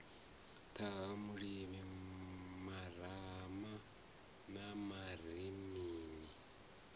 ṱhaha lulimi marama na marinini